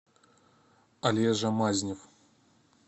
олежа мазнев